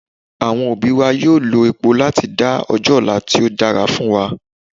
Àwọn òbí wa yóò lo epo láti dá ọjọ́ ọ̀la tí ó dára fún wa